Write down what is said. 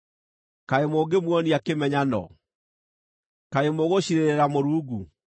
Kaĩ mũngĩmuonia kĩmenyano? Kaĩ mũgũciirĩrĩra Mũrungu?